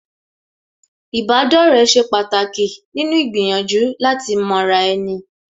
Ìbádọ́rẹ̀ẹ́ ṣe pàtàkì nínú gbìyànjú láti mọra ẹni